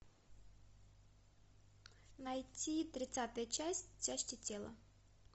найти тридцатая часть части тела